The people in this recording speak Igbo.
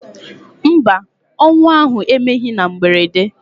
Mba, ọnwụ ahụ emeghị na mberede.